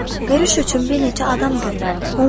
Görüş üçün bir neçə adam göndərdim.